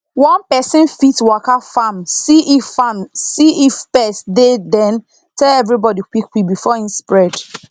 one person fit waka farm see if farm see if pest dey then tell everybody quick quick before e spread